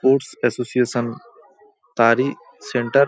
Ports association তারই centre.